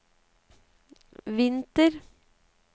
vinter